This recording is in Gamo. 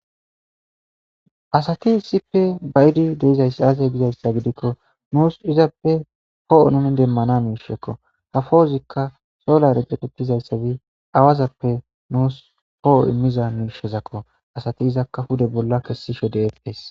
Asati issippe ba'idi dizay aaze gikon nus izappe po'o nu demana misheko ha po'ozika solare demizaysa gidik, awazappe nus po'o imiza miisheko. Asati izaka pude bolla kesishe de'etees.